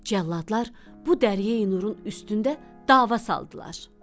Cəlladlar bu Dəryəyi Nurun üstündə dava saldılar.